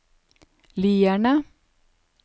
Lierne